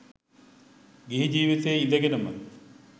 ගිහි ජීවිතයේ ඉඳගෙනම